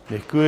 Děkuji.